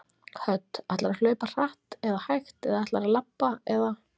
Hödd: Ætlarðu að hlaupa hratt eða hægt eða ætlarðu að labba eða?